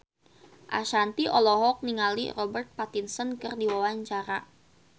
Ashanti olohok ningali Robert Pattinson keur diwawancara